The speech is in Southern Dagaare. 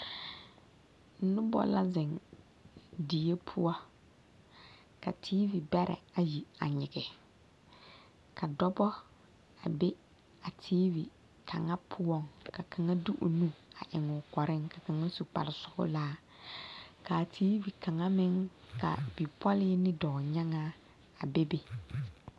Nobɔ la zeŋ die poɔ ka tiivi bɛrɛ ayi a nyigi ka dɔbɔ a be a tiivi kaŋa poɔŋ ka kaŋa de o nu a eŋ o kɔreŋ ka kaŋa su kparresɔglaa kaa tiivi kaŋa beŋ ka bipɔlii ne dɔɔnyaŋaa a be be.